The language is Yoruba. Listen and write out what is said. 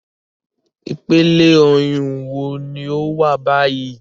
Ipele oyun wo ni o wa bayi?